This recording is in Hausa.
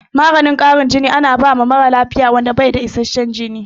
Maganin ƙara jini ana bawa mara lafiyan da bai da isashen jini